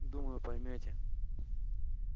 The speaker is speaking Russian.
думаю поймёте